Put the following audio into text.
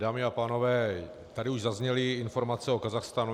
Dámy a pánové, tady už zazněly informace o Kazachstánu.